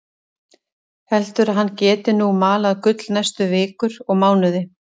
Heldur að hann geti nú malað gull næstu vikur og mánuði.